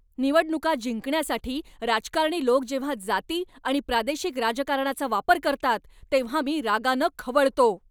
निवडणुका जिंकण्यासाठी राजकारणी लोक जेव्हा जाती आणि प्रादेशिक राजकारणाचा वापर करतात तेव्हा मी रागानं खवळतो.